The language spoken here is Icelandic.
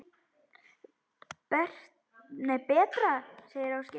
Betra, segir Ásgeir.